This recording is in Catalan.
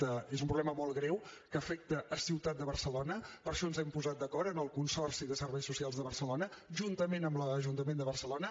és un problema molt greu que afecta la ciutat de barcelona i per això ens hem posat d’acord amb el consorci de serveis socials de barcelona juntament amb l’ajuntament de barcelona